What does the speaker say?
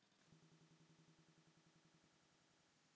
Vonandi nær hann bata.